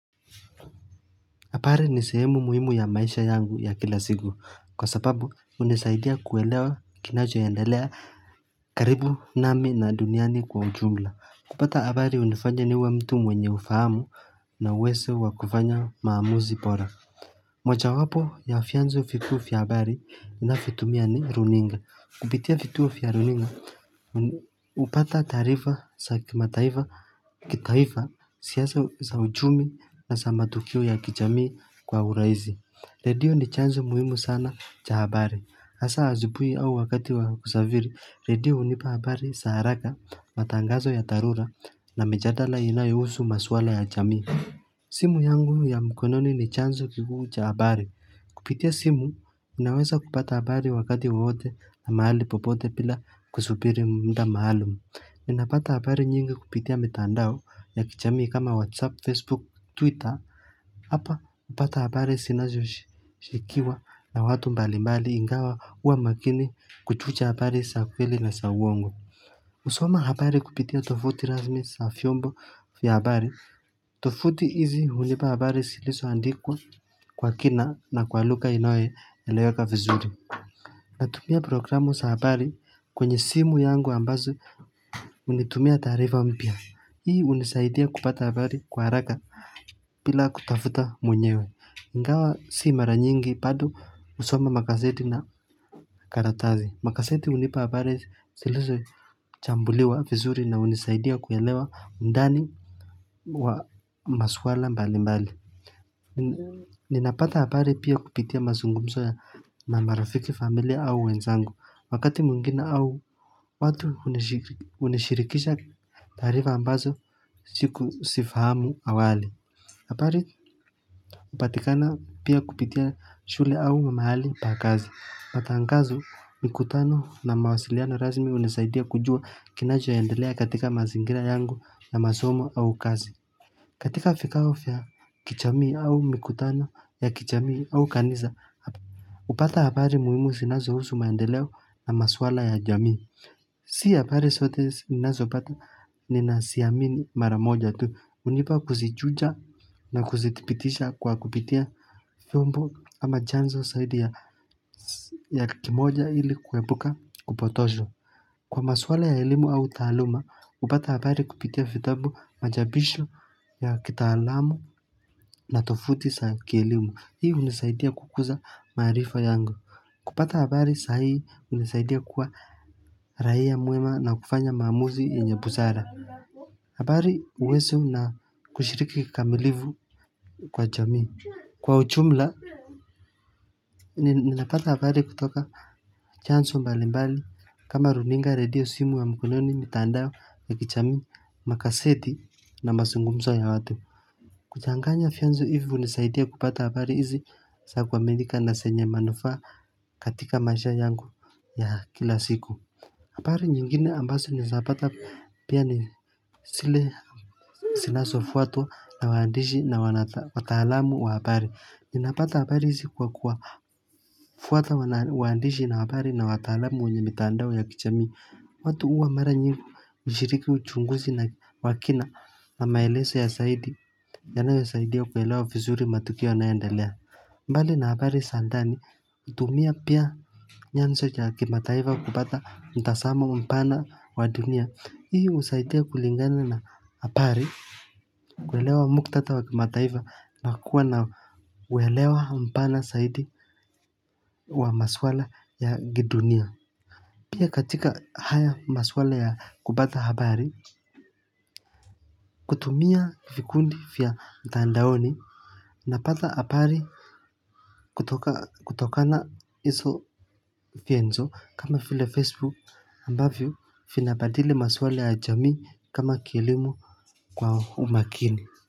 Habari ni sehemu muhimu ya maisha yangu ya kilasiku, kwa sababu unisaidia kuelewa kinacho endelea karibu nami na duniani kwa ujumla. Kupata habari unifanya niwe mtu mwenye ufahamu na uwezo wa kufanya maamuzi bora. Mojawapo ya vyanzo vikuu vya habari na vitumia ni runinga. Kupitia vituo vyaruninga, upata tarifa za kitaifa siasa za uchumi na za matukio ya kijamii kwa uraisi. Redio ni chanzo muhimu sana cha habari. Asa asubui au wakati wa kusafiri, redio unipa habari zaharaka, matangazo ya dharura na mijadala inayusu maswala ya jamii. Simu yangu ya mkononi ni chanzo kikuu cha habari. Kupitia simu, minaweza kupata habari wakati wowote na mahali popote bila kusubiri mda maalumu Minapata habari nyingi kupitia mitandao ya kijamii kama WhatsApp, Facebook, Twitter. Hapa, upata habari sinazo shikiwa na watu mbalimbali ingawa uwa makini kuchuja habari za kweli na za uongo. Usoma habari kupitia tofuti razmi sa vyombo vya habari. Tovuti hizi unipa habari ziliso andikwa kwa kina na kwa lugha inoye eleweka vizuri Natumia programu sa habari kwenye simu yangu ambazo unitumia tarifa mpya Hii unisaidia kupata habari kwa raka pila kutafuta mwenyewe ingawa si maranyingi bado usoma magazeti na karatazi Magazeti unipa habari zilizo chambuliwa vizuri na unisaidia kuyalewa undani wa maswala mbali mbali ninapata abari pia kupitia mazungumzo ya na marafiki familia au wenzangu wakati mwingine awu watu unishirikisha taarifa ambazo sifamu awali habari upatikana pia kupitia shule au mamahali pakazi matangazo mikutano na mawasiliano rasmi unisaidia kujua kinacho endelea katika mazingira yangu na masomo au kazi katika vikao vya kijamii au mikutano ya kijamii au kanisa, upata habari muimu zinazo husu maendeleo na maswala ya jamii. Si habari zote ninazo pata ni naziamini maramoja tu, unipa kuzichuja na kuzitipitisha kwa kupitia vyombo ama chanzo zaidi ya kimoja ili kwepuka kupotoshwa. Kwa maswala ya ilimu au taaluma, upata habari kupitia vitabu mchapisho ya kitalamu na tovuti za kielimu. Hii unisaidia kukuza marifa yangu. Kupata habari sahii unisaidia kwa raia mwema na kufanya mamuzi yenye busara. Habari uwezo na kushiriki kikamilifu kwa jamii. Kwa ujumla, Ninapata hapari kutoka chanzo mbali mbali kama runinga radio simu wa mkononi mitandao ya kijami makaslzeti na mazungumzo ya watu kuchanganya vynzo hivyo nisaidia kupata habari hizi sa kuaminika na zenye manufa katika maisha yangu ya kila siku habari nyingine ambazo ni zapata pia ni zile zinazofatwa na waandishi na watalamu wa habari. Ninapata habari zikuwa kuwa fuata waandishi na habari na watalamu wunye mitandao ya kijami. Watu uwa marangi ushiriki uchunguzi na wakina na maelezo ya zaidi. Yanayo ya saidia kwelewa vizuri matukio na yoendelea. Mbali na habari zandani, kutumia pia nyanzo ya kimataifa kupata mtazamo mpana wa dunia. Hii usaidia kulingana na habari. Kwelewa muktadha wa kimataifa nakua na welewa mpana zaidi wa maswala ya kidunia. Pia katika haya maswala ya kupata habari. Kutumia vikundi vya mtandaoni. Napatha haari kutokana izo vyanzo kama vile Facebook ambavyo vinabadili maswala ya jamii kama kilimu kwa umakini.